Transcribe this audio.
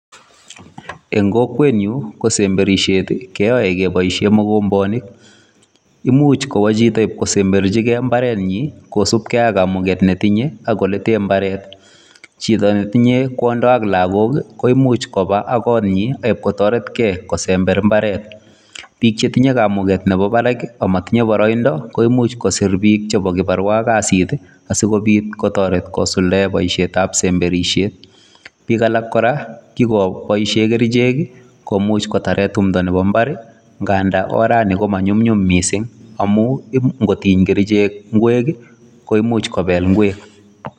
Eng kokwet nyuun keyae semberishet kebaisheen mogombeet imuuch kwaa chito in kosemberjigei mbaret nyiin ii kosupkei ak kamuget ne tinyei ak ole teen mbaret shida ne tinyei kondaa ak lagook komuuch kobaa konyiin ii kotaret gei kosember mbaret biik che tinyei kamuget ne bo Barak ak matinyei baraindaa ko imuuch kosiir biik che bo kasiit ii asikobiit kotaret kosuldaen boisiet ab semberishet biik alaak kora kobaisheen kercheek ii komuuch kotaren tumdo nebo mbar ii ngandaan orani ko manyumnyum missing amuun ingotiiny kercheek ngweek ii koimuuch kobeek ngweek.